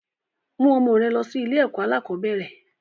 Mú ọmọ rẹ lọ sí ilé ẹ̀kọ́ alakọ̀bẹ́ẹ́rẹ̀!